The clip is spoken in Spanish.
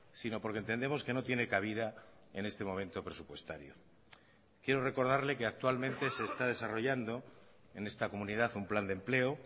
sino porque entendemos que no tiene cabida en este momento presupuestario quiero recordarle que actualmente se está desarrollando en esta comunidad un plan de empleo